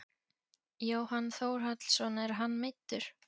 Jóhann Þórhallsson er hann meiddur?